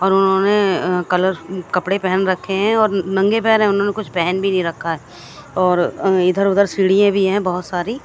और उन्होने अ कलर कपडे पेहेन रखे है और नग्गे पैर है उन्होंने कुछ पेहेन भी नहीं रखा है और अ इधर उधर सिडिया भी है बोहोत सारी --